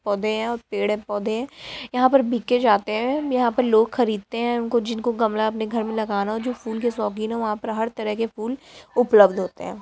पौधे हैं और पेड़ हैं पौधे हैं | यहाँ पर बीके जाते हैं यहाँ पर लोग खरीदते हैं उनको जिनको गमला अपने घर में लगाना हो जो फूल के शौकीन हैं वहाँ पर हर तरह के फूल उपलब्ध होते हैं।